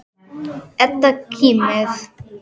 Edda kímir.